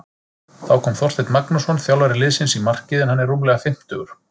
Þá kom Þorsteinn Magnússon þjálfari liðsins í markið en hann er rúmlega fimmtugur.